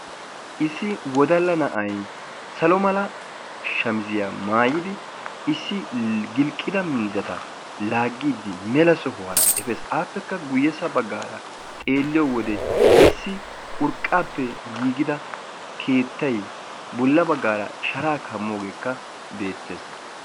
Issi wodalla na"ay salo mala shamiziyaa maayidi issi gilqqida miizzata laaggiiddi mela sohuwaara efees. Aappekka guyyessa baggaara xeelliyo wode issi urqqaappe giigida keettay bolla baggaara sharaa kammoogeekka beettees.